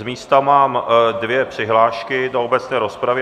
Z místa mám dvě přihlášky do obecné rozpravy.